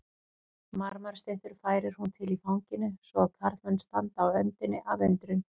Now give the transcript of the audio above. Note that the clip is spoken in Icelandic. Marmarastyttur færir hún til í fanginu svo að karlmenn standa á öndinni af undrun.